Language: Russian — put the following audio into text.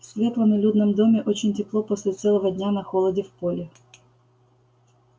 в светлом и людном доме очень тепло после целого дня на холоде в поле